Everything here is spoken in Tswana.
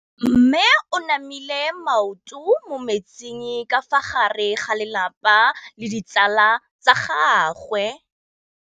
Mme o namile maoto mo mmetseng ka fa gare ga lelapa le ditsala tsa gagwe.